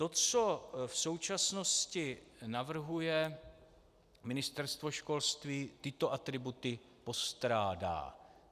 To, co v současnosti navrhuje Ministerstvo školství, tyto atributy postrádá.